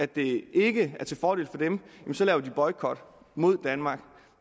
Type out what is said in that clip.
det ikke er til fordel for dem så laver de boykot mod danmark